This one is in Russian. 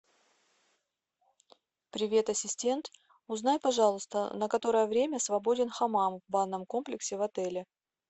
привет ассистент узнай пожалуйста на которое время свободен хамам в банном комплексе в отеле